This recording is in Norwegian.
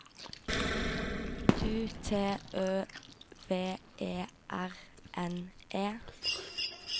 U T Ø V E R N E